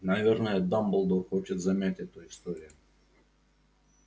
наверное дамблдор хочет замять эту историю